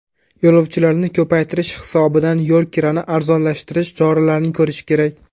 Yo‘lovchilarni ko‘paytirish hisobidan yo‘l kirani arzonlashtirish choralarini ko‘rish kerak.